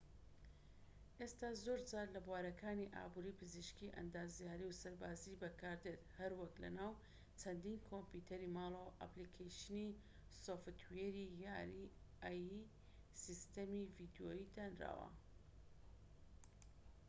سیستەمی ai ئێستا زۆرجار لە بوارەکانی ئابوری پزیشکی ئەندازیاری و سەربازیی بەکاردێت هەروەک لە ناو چەندین کۆمپیۆتەری ماڵەوە و ئەپلیکەیشنی سۆفتوێری یاری ڤیدیۆیی دانراوە